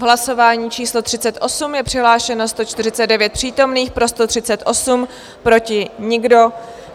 V hlasování číslo 38 je přihlášeno 149 přítomných, pro 138, proti nikdo.